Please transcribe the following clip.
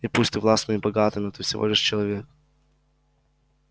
и пусть ты властный и богатый но ты всего лишь человек